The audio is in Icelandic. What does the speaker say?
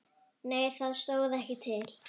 Nei það stóð ekki til.